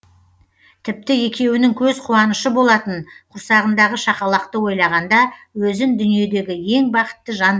тіпті екеуінің көз қуанышы болатын құрсағындағы шақалақты ойлағанда өзін дүниедегі ең бақытты жан